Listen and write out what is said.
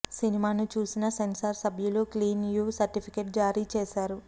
సినిమాను చూసిన సెన్సార్ సభ్యులు క్లీన్ యూ సర్టిఫికెట్ జారీ చేసారు